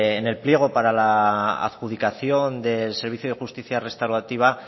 en el pliego para la adjudicación del servicio de justicia restaurativa